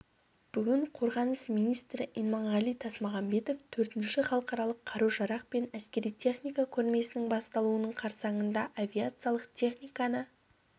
бүгін қорғаныс министрі иманғали тасмағамбетов төртінші халықаралық қару-жарақ пен әскери техника көрмесінің басталуы қарсаңында авиациялық техниканы